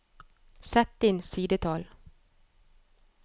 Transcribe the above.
Sett inn sidetall